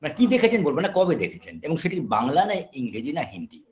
না কি দেখেছেন বলবো না কবে দেখেছেন এবং সেকি বাংলা না ইংরেজি না হিন্দি